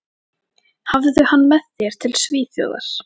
Hafðu hann með þér til Svíþjóðar.